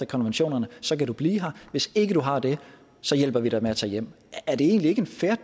konventionerne så kan du blive her hvis ikke du har det hjælper vi dig med at tage hjem er det egentlig ikke en fair